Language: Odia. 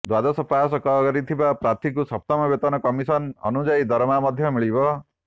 ଦ୍ୱାଦଶ ପାସ୍ କରିଥିବା ପ୍ରାର୍ଥୀଙ୍କୁ ସପ୍ତମ ବେତନ କମିଶନ ଅନୁଯାୟୀ ଦରମା ମଧ୍ୟ ମିଳିବ